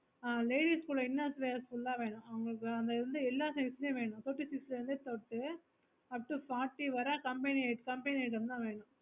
ஆஹ் ladies ஓட inner wears full ah வேணும் அங்க இருந்த எல்லா size மே வேணும் thirty six ல இருந்து தொட்டு fourty வேற company item தான் வேணும்